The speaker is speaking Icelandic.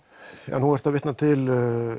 nú ertu að vitna til